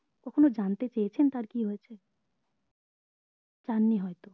কখনো জানড়তে চেয়েছেন তার কি হয়েছে চাননি হয়তো